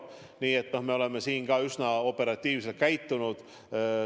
Nii et me oleme üsna operatiivselt tegutsenud.